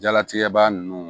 Jalatigɛ ba nunnu